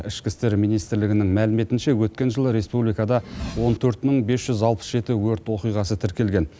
ішкі істер министрлігінің мәліметінше өткен жылы республикада он төрт мың бес жүз алпыс жеті өрт оқиғасы тіркелген